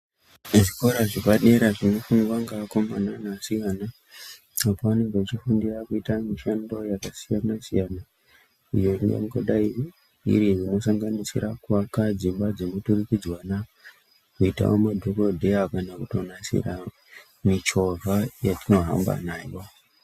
Muzvikora zvepadera zvinoendwa nevakomana nevasikana pevanenge vachifundira kuita mishando yakasiyana-siyana iyo ingangodaro iri inosanganisira kuaka dzimba dzemuturikidzanwa, kuitawo madhogodheya kana kutonasira michovha yetinohamba nayo.